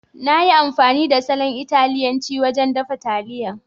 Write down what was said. Na yi amfani da salon Italiyanci wajen dafa taliyan.